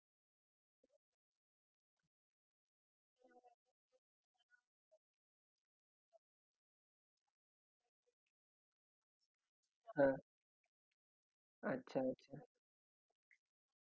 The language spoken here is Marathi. हो sir चालेल पण फक्त तुम्हाला एक करावे लागेल कि तुम्हाला आजच्या आज ती तुमच्या triple door advans fridge ची order place करावी लागेल sir तेवढा तुम्ही करा बाकी sir मला